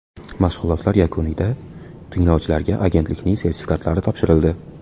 Mashg‘ulotlar yakunida tinglovchilarga agentlikning sertifikatlari topshirildi.